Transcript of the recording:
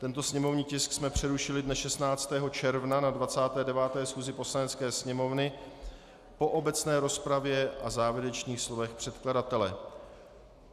Tento sněmovní tisk jsme přerušili dne 16. června na 29. schůzi Poslanecké sněmovny po obecné rozpravě a závěrečných slovech předkladatele.